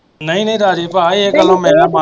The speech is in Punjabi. ਨਹੀਂ ਨਹੀਂ ਰਾਜੇ ਭਾ ਇਹ ਗੱਲੋਂ ਮੈਂ